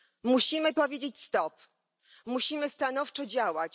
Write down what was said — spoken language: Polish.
Musimy powiedzieć stop, musimy stanowczo działać.